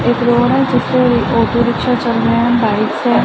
एक रोड है जिसपे ऑटो रिक्सा चल रहें हैं बाइक्स है।